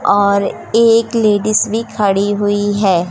और एक लेडीज भी खड़ी हुई है।